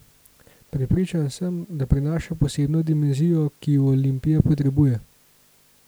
Prepričan sem, da prinaša posebno dimenzijo, ki jo Olimpija potrebuje.